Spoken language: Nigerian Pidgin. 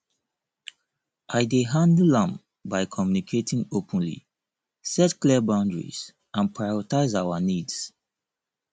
i dey handle am by communicating openly set clear boundaries and prioritize our needs